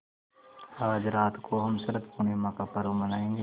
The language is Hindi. आज रात को हम शरत पूर्णिमा का पर्व मनाएँगे